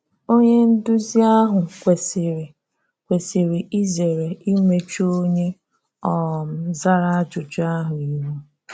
Onye nduzi ahụ kwesị́rị kwesị́rị ízéré imechu onye um zara ajụ́jụ ahụ ihu.